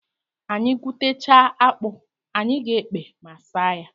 Anyị gwutechaa akpụ, anyị ga-ekpe ma saa ya.